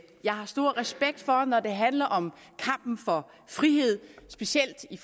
jeg har stor respekt for når det handler om kampen for frihed specielt i